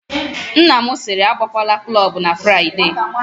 Nna m sịrị, agakwala klọbụ na Fraịde!